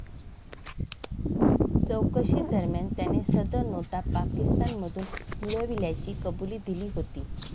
चौकशीदरम्यान त्याने सदर नोटा पाकिस्तानमधून मिळविल्याची कबुली दिली होती.